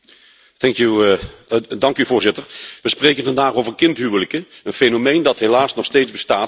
We spreken vandaag over kindhuwelijken, een fenomeen dat helaas nog steeds bestaat, en zelfs in ons beschaafd Europa voorkomt.